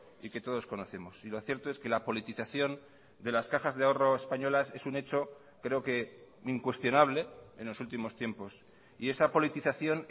y que todos conocemos y lo cierto es que la politización de las cajas de ahorro españolas es un hecho creo que incuestionable en los últimos tiempos y esa politización